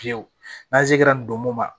Fiyewu n'an se kɛra nin don mun ma